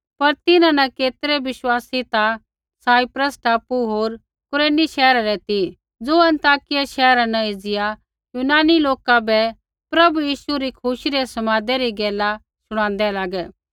पर तिन्हां न केतरै बिश्वासी ता साइप्रस टापू होर कुरेनी शैहरा रै ती ज़ो अन्ताकिया शैहरा न एज़िया यूनानी लोका बै प्रभु यीशु री खुशी री समादै री गैला शुणादै लागै